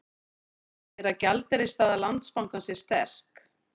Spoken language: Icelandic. Segir að gjaldeyrisstaða Landsbankans sé sterk